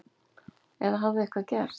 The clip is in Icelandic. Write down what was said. Eða hafði eitthvað gerst?